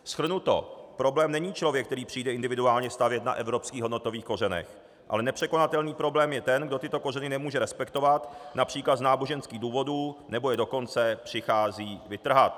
Shrnuto - problém není člověk, který přijde individuálně stavět na evropských hodnotových kořenech, ale nepřekonatelný problém je ten, kdo tyto kořeny nemůže respektovat například z náboženských důvodů, nebo je dokonce přichází vytrhat.